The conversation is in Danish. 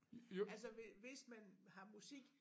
Altså hvis man har musik